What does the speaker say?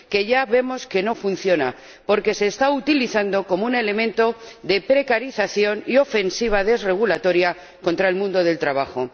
ya vemos que no funciona, porque se está utilizando como un elemento de precarización y ofensiva desregulatoria contra el mundo del trabajo.